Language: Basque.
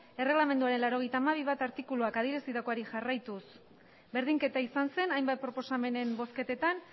erregelamenduaren laurogeita hamabi puntu bat artikuluak adierazitakoari jarraituz berdinketa izan zen hainbat proposamenen bozketetan